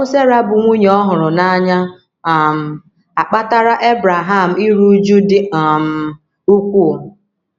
Ọnwụ Sera bụ́ nwunye ọ hụrụ n’anya um akpatara Ebreham iru újú dị um ukwuu.